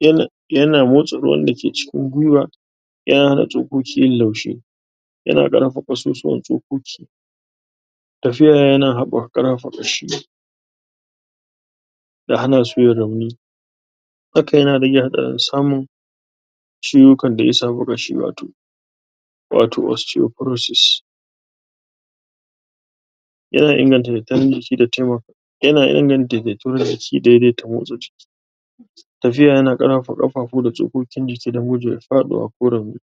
yana yana motsa ruwan dake cikin gwuiwa yana hana tsokoki yin laushi yana ƙarfafa ƙasusuwan tsokoki tafiya yana haɓaka ƙarfafa ƙashi ya hana su yin rauni haka yana rage haɗarin samun ciwukan da ya samu ƙashi, wato wato osteoporosis yana inganta dattarin?? jiki da taimaka yana inganta data?? jiki daidata motsa jiki tafiya yana ƙarfafa ƙafafu da tsokokin jiki da gujewar faɗuwa ko rauni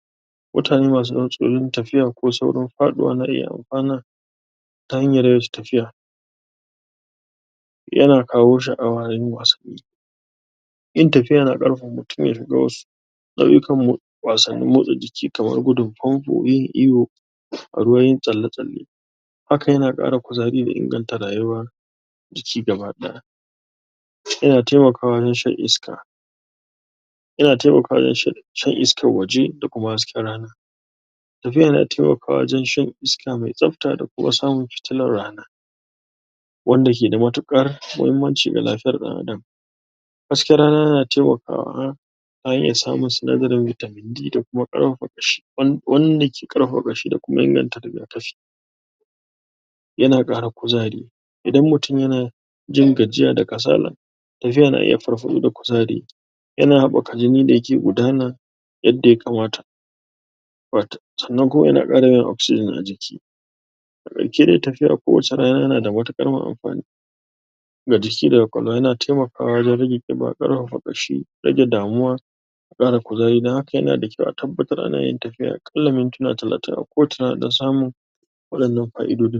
mutane masu tsautsayin tafiya ko saurin faɗuwa na iya anfana ta hanyar yawaita tafiya yana kawo sha'awa yayin wasanni yin tafiya yana ƙarfafa mutum ya shiga wasu nau'ikan mo wasannin motsa jiki, kamar gudun famfo, yin iyo a ruwa, yin tsalle-tsalle haka yana ƙara kuzari da inganta rayuwa jiki gaba ɗaya yana taimakawa wajen shan iska yana taimakawa wajen shan shan iskar waje da kuma hasken rana tafiya yana taimakawa wajen shan iska mai tsafta da kuma samun fitilar rana wanda keda mutuƙar muhimmanci ga lafiyar ɗan adam hasken rana na taimakawa a iya samun sinadarin vitamin D da kuma ƙarfafa ƙashi wan? wanda ke ƙarfafa ƙashi da kuma inganta riga kafi yana ƙara kuzari idan mutum yana jin gajiya da kasala tafiya na iya farfaɗo da kuzari yana haɓaka jini da yake gudana yadda ya kamata wat? sannan kuma yana ƙara yawan oxygen a jiki a ƙarshe dai tafiya a kowacce rana yana da mutuƙar mun amfani ga jiki da ƙwaƙwalwa yana taimakawa wajen rage ƙiba, ƙarfafa ƙashi rage damuwa ƙara kuzari. Don haka yana da kyau a tabbatar anayin tafiya aƙalla mintina talatin a kowacce rana don samun waɗannan fa'idodin.